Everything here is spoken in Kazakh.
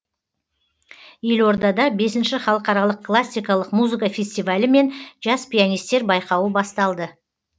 елордада бесінші халықаралық классикалық музыка фестивалі мен жас пианистер байқауы басталды